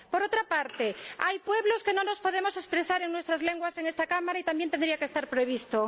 Por otra parte, hay pueblos que no nos podemos expresar en nuestras lenguas en esta Cámara y eso también tendría que estar previsto.